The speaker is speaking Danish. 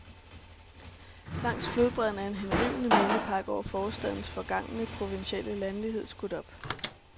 Langs flodbredden er en henrivende mindepark over forstadens forgangne, provinsielle landlighed skudt op.